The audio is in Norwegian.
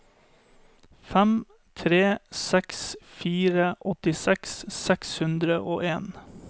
fem tre seks fire åttiseks seks hundre og en